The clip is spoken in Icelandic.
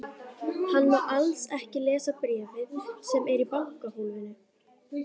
Hann má alls ekki lesa bréfið sem er í bankahólfinu.